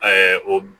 o